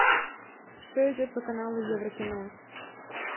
что идет по каналу еврокино